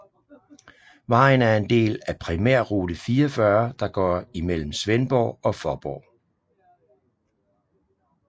Vejen er en del af primærrute 44 der går imellem Svendborg og Faaborg